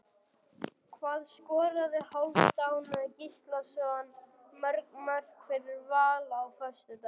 Hvað skoraði Hálfdán Gíslason mörg mörk fyrir Val á föstudaginn?